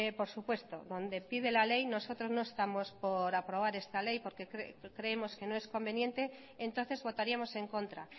por supuesto donde pide la ley nosotros no estamos por aprobar esta ley porque creemos que no es conveniente entonces votaríamos en contra